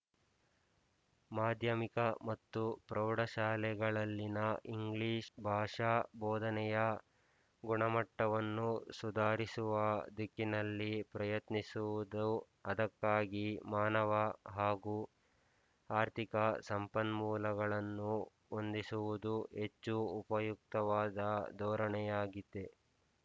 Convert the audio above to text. ಮಾಧ್ಯಮಿಕ ಮತ್ತು ಪ್ರೌಢಶಾಲೆಗಳಲ್ಲಿನ ಇಂಗ್ಲಿಶ್ ಭಾಷಾ ಬೋಧನೆಯ ಗುಣಮಟ್ಟವನ್ನು ಸುಧಾರಿಸುವ ದಿಕ್ಕಿನಲ್ಲಿ ಪ್ರಯತ್ನಿಸುವುದೂ ಅದಕ್ಕಾಗಿ ಮಾನವ ಹಾಗೂ ಆರ್ಥಿಕ ಸಂಪನ್ಮೂಲಗಳನ್ನು ಹೊಂದಿಸುವುದೂ ಹೆಚ್ಚು ಉಪಯುಕ್ತವಾದ ಧೋರಣೆಯಾಗಿದೆ